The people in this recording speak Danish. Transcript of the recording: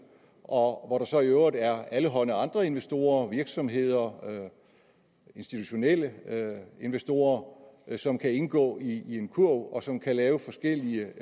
og hvor der så i øvrigt er alle hånde andre investorer virksomheder institutionelle investorer som kan indgå i en kurv og som kan lave forskellige